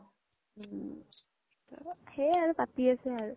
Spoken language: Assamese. উম সেই আৰু পাতি আছে আৰু